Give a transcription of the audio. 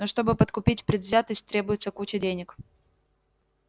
но чтобы подкупить предвзятость требуется куча денег